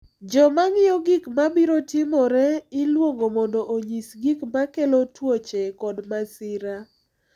Joma ng’iyo gik mabiro timore iluongo mondo onyis gik ma kelo tuoche kod masira,